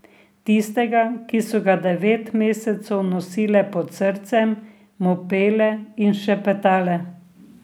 Tistega, ki so ga devet mesecev nosile pod srcem, mu pele in šepetale.